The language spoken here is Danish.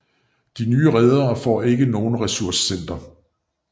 De nye redere får ikke nogen ressourcerente